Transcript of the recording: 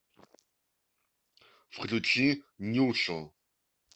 включи нюшу